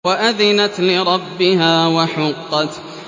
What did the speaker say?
وَأَذِنَتْ لِرَبِّهَا وَحُقَّتْ